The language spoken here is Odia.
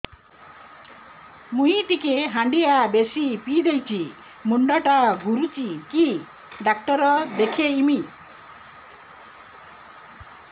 ମୁଇ ଟିକେ ହାଣ୍ଡିଆ ବେଶି ପିଇ ଦେଇଛି ମୁଣ୍ଡ ଟା ଘୁରୁଚି କି ଡାକ୍ତର ଦେଖେଇମି